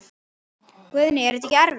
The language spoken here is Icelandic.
Guðný: Er þetta ekkert erfitt?